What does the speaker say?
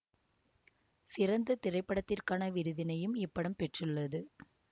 சிறந்த திரைப்படத்திற்கான விருதினையும் இப்படம் பெற்றுள்ளது